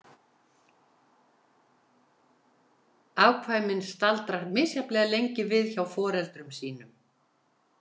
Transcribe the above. Afkvæmin staldra misjafnlega lengi við hjá foreldrum sínum.